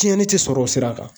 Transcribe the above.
Tiɲɛni tɛ sɔrɔ o sira kan.